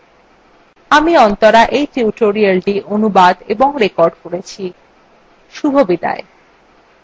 আমি অন্তরা এই tutorialটি অনুবাদ এবং রেকর্ড করেছি এই tutorialএ অংশগ্রহন করার জন্য ধন্যবাদ